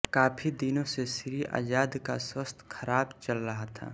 काफी दिनों से श्री आजाद का स्वास्थ्य खराब चल रहा था